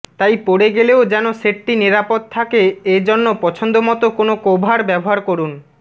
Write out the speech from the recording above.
তাই পড়ে গেলেও যেন সেটটি নিরাপদ থাকে এজন্য পছন্দ মতো কোনো কভার ব্যবহার করুন